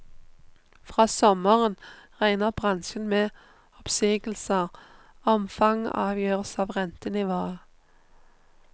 Fra sommeren regner bransjen med oppsigelser, omfanget avgjøres av rentenivået.